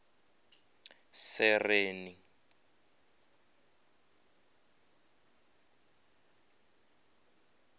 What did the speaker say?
sereni